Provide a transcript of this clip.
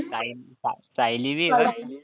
साय सा सायली बी आहे.